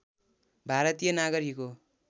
भारतीय नागरिक हो